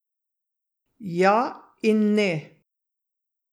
Ja in ne.